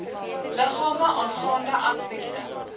liggame aangaande aspekte